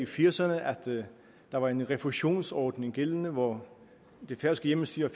firserne at der var en refusionsordning gældende hvor det færøske hjemmestyre